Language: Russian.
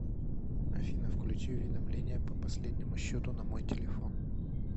афина включи уведомления по последнему счету на мой телефон